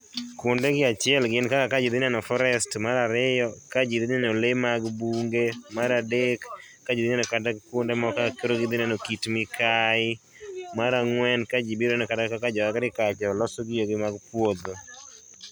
Kuonde gi achiel en kaka kajii dhi neno forest, mar ariyo ka jii dhi neno bunge. Mar adek ka jii dhi neno kuonde kaka gidhi neno kata ka Kit Mikai. Mar ang'wen ka jii biro neno kata kaka jo agriculture loso gige gi mag puodho